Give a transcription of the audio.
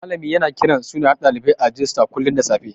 Malami yana kiran sunayen ɗalibai a rijista kullun da safe.